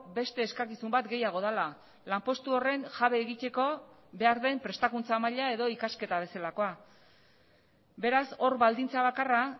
beste eskakizun bat gehiago dela lanpostu horren jabe egiteko behar den prestakuntza maila edo ikasketa bezalakoa beraz hor baldintza bakarra